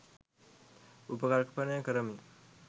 උපකල්පනය කරමි.